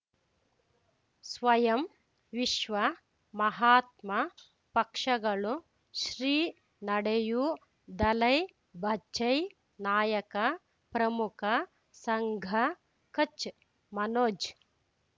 ಸ್ವಯಂ ವಿಶ್ವ ಮಹಾತ್ಮ ಪಕ್ಷಗಳು ಶ್ರೀ ನಡೆಯೂ ದಲೈ ಬಚೈ ನಾಯಕ ಪ್ರಮುಖ ಸಂಘ ಕಚ್ ಮನೋಜ್